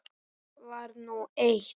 Það var nú eitt.